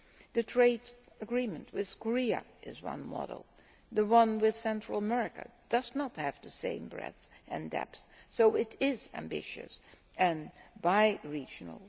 The trade agreement with Korea is one model. The one with Central America does not have the same breadth and depth, though it is ambitious and bi regional.